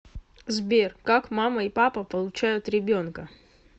сбер как мама и папа получают ребенка